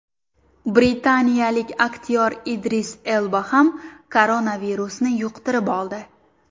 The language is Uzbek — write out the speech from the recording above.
Britaniyalik aktyor Idris Elba ham koronavirusni yuqtirib oldi.